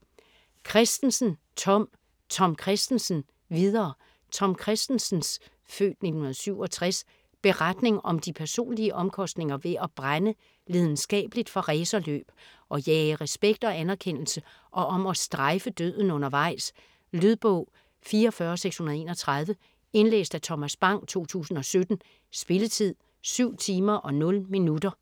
Kristensen, Tom: Tom Kristensen - videre Tom Kristensens (f. 1967) beretning om de personlige omkostninger ved at brænde lidenskabeligt for racerløb, at jage respekt og anerkendelse og om at "strejfe" døden undervejs. Lydbog 44631 Indlæst af Thomas Bang, 2017. Spilletid: 7 timer, 0 minutter.